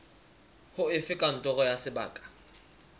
ho efe kantoro ya sebaka